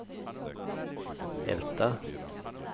Älta